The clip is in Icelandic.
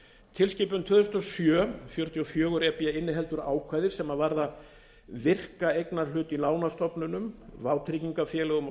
tilskipun tvö þúsund og sjö fjörutíu og fjögur e b inniheldur ákvæði sem varðar virkan eignarhlut í lánastofnunum vátryggingarfélögum og